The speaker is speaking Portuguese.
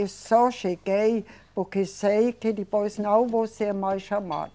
Eu só cheguei porque sei que depois não vou ser mais chamada.